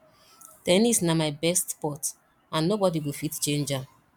ten nis na my best sport and nobody go fit change am